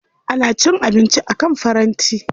Ana cin abinci akan faranti.